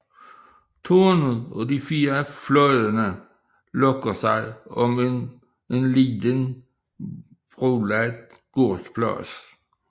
Tårnet og de fire fløje lukker sig om en lille brolagt gårdsplads